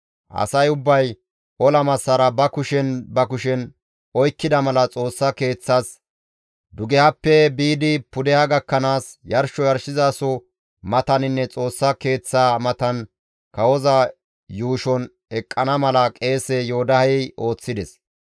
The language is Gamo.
Asay ubbay ola massara ba kushen ba kushen oykkida mala Xoossa Keeththas dugehappe biidi pudeha gakkanaas, yarsho yarshizaso mataninne Xoossa Keeththaa matan kawoza yuushon eqqana mala qeese Yoodahey ooththides.